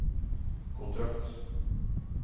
kontrakt